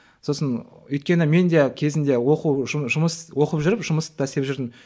сосын өйткені мен де кезінде оқу жұмыс оқып жүріп жұмысты да істеп жүрдім